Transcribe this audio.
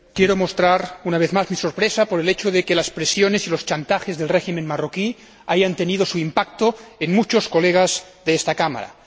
Quiero mostrar una vez más mi sorpresa ante el hecho de que las presiones y los chantajes del régimen marroquí hayan tenido su impacto en muchos colegas de esta Cámara.